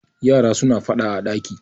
yara suna fada a daki